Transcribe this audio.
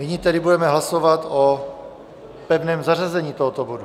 Nyní tedy budeme hlasovat o pevném zařazení tohoto bodu.